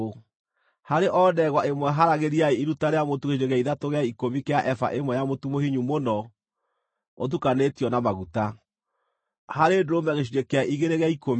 Harĩ o ndegwa ĩmwe haaragĩriai iruta rĩa mũtu gĩcunjĩ gĩa ithatũ gĩa ikũmi kĩa eba ĩmwe ya mũtu mũhinyu mũno ũtukanĩtio na maguta; harĩ ndũrũme gĩcunjĩ kĩa igĩrĩ gĩa ikũmi;